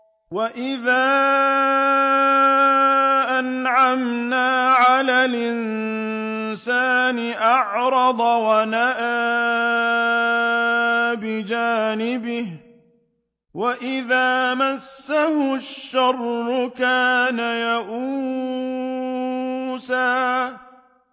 وَإِذَا أَنْعَمْنَا عَلَى الْإِنسَانِ أَعْرَضَ وَنَأَىٰ بِجَانِبِهِ ۖ وَإِذَا مَسَّهُ الشَّرُّ كَانَ يَئُوسًا